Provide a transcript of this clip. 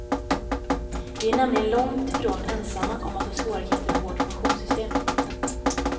Vi är nämligen långt ifrån ensamma om att ha svårigheter med vårt pensionssystem.